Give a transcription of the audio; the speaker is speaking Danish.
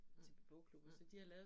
mhmh